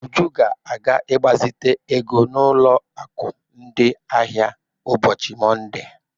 Uju ga-aga ịgbazite ego n'ụlọ akụ ndị ahịa ụbọchị Monde.